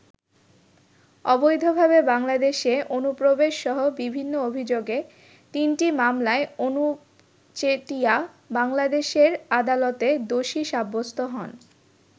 অবৈধভাবে বাংলাদেশে অনুপ্রবেশসহ বিভিন্ন অভিযোগে তিনটি মামলায় অনুপ চেটিয়া বাংলাদেশের আদালতে দোষী সাব্যস্ত হন।